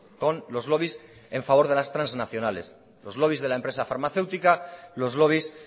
con los lobbies en favor de las transnacionales los lobbies de la empresa farmacéutica los lobbies